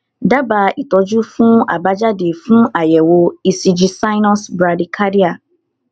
daba itọjú fun abajade fun ayewo ecg sinus brady cardia